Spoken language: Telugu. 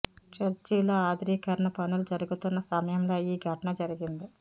చర్చిలో ఆధునికీకరణ పనులు జరుగుతున్న సమయంలో ఈ ఘటన జరిగింది